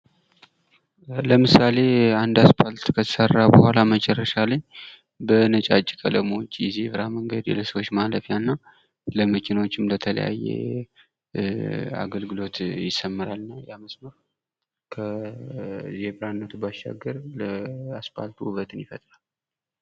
ለምሳሌ አንድ አስፓልት ከተሠራ በኋላ መጨረሻ ላይ በነጫጭ ቀለሞች የዜብራ መንገድ ፣የሰወች ማለፍያና ለመኪኖችም ለተለያየ አገልግሎት ይሰመራል ያ መስመር ከዜብራነቱ ባሻገር ለአስፋልቱ ውበትን ይፈጥራል።